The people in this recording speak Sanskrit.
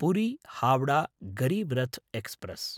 पुरी–हावडा गरीब् रथ् एक्स्प्रेस्